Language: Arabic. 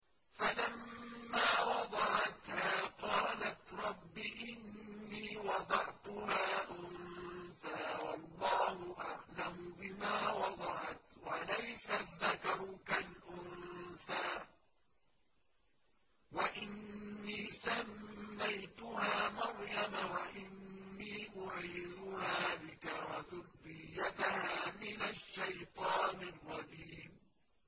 فَلَمَّا وَضَعَتْهَا قَالَتْ رَبِّ إِنِّي وَضَعْتُهَا أُنثَىٰ وَاللَّهُ أَعْلَمُ بِمَا وَضَعَتْ وَلَيْسَ الذَّكَرُ كَالْأُنثَىٰ ۖ وَإِنِّي سَمَّيْتُهَا مَرْيَمَ وَإِنِّي أُعِيذُهَا بِكَ وَذُرِّيَّتَهَا مِنَ الشَّيْطَانِ الرَّجِيمِ